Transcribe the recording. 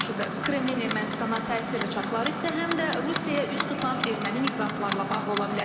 Kreml Ermənistana təsir rıçaqları isə həm də Rusiyaya üz tutan erməni miqrantlarla bağlı ola bilər.